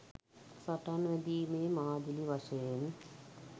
සටන් වැදීමේ මාදිලි වශයෙන්